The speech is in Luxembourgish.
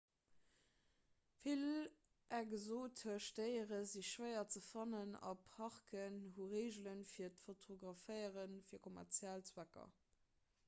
vill exotesch déiere si schwéier ze fannen a parken hu reegele fir d'fotograféiere fir kommerziell zwecker